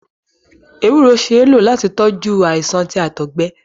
Ewúro ṣee ló láti tọjú àìsàn ti Àtọgbẹ